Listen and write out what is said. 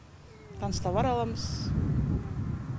канц товар аламыз